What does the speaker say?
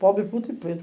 Pobre, puto e preto.